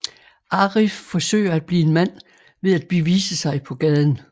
Arif forsøger at blive en mand ved at bevise sig på gaden